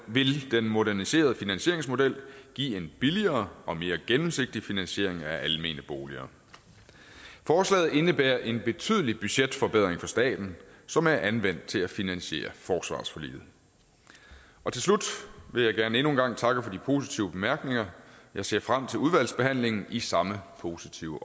vil den moderniserede finansieringsmodel give en billigere og mere gennemsigtig finansiering af almene boliger forslaget indebærer en betydelig budgetforbedring for staten som er anvendt til at finansiere forsvarsforliget til slut vil jeg gerne endnu en gang takke for de positive bemærkninger jeg ser frem til udvalgsbehandlingen i samme positive